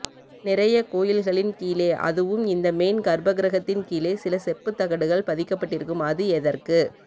நிறைய கோயில்களின் கீழே அதுவும் இந்த மெயின் கர்ப்பகிரகத்தின் கீழே சில செப்பு தகடுகள் பதிக்கபட்டிருக்கும் அது எதற்கு